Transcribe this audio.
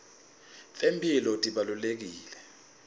temphilo tibalulekile